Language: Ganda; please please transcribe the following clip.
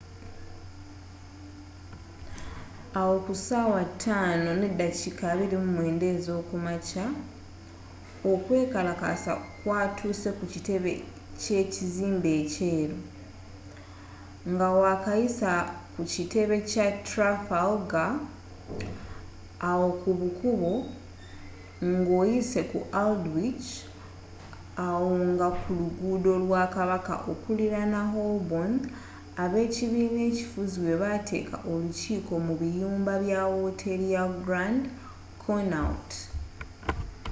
awo kusaawa 11:29 okwekalakaasa kwatuuse kukitebe kyekizimbe ekyeru ngawakayisa ku kitebe kya trafalgar awo kubukubo ngoyise ku aldwych awo nga ku luguudo lwa kabaka okuliraana holborn ab'ekibina ekifuzi webaateeka olukiiko mu biyumba bya wooteri ya grand connaught